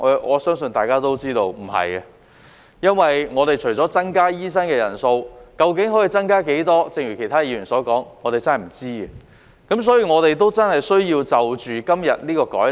我相信大家都知道不是，因為亦需視乎增加的醫生人數為何，而正如其他議員所說，我們真的不知道。